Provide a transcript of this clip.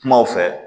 Kumaw fɛ